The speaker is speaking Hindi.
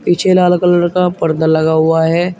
पीछे लाल कलर का पर्दा लगा हुआ है।